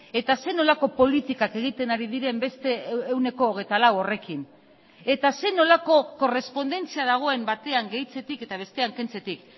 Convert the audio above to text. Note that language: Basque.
eta zer nolako politikak egiten ari diren beste ehuneko hogeita lau horrekin eta zer nolako korrespondentzia dagoen batean gehitzetik eta bestean kentzetik